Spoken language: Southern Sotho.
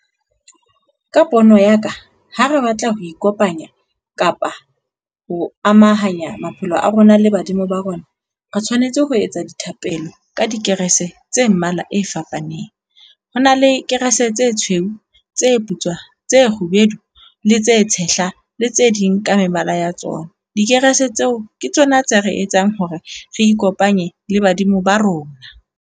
Ka pono ya ka, ha re batla ho ikopanya kapa ho amahanya maphelo a rona le badimo ba rona, re tshwanetse ho etsa dithapelo ka dikerese tse mmala e fapaneng. Ho na le kerese tse tshweu, tse putswa, tse kgubedu, le tse tshehla le tse ding ka mebala ya tsona. Dikerese tseo ke tsona tse re etsang hore re ikopanye le badimo ba rona.